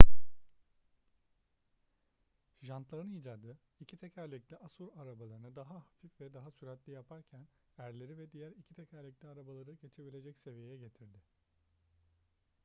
jantların icadı iki tekerlekli asur arabalarını daha hafif ve daha süratli yaparken erleri ve diğer iki tekerlekli arabaları geçebilecek seviyeye getirdi